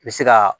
Bɛ se ka